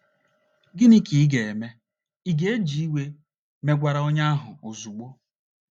Gịnị ka ị ga - eme? Ị̀ ga - eji iwe megwara onye ahụ ozugbo?